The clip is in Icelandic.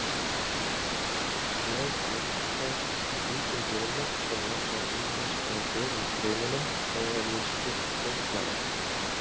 Tréð blómgast hvítum blómum sem vaxa ýmist á berum greinunum eða við stilk laufblaða.